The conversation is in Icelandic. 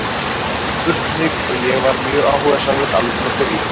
Það var spurt mig og ég var mjög áhugasamur alveg frá byrjun.